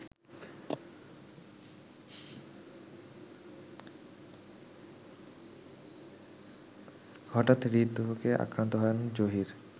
হঠাৎ হৃদরোগে আক্রান্ত হন জহির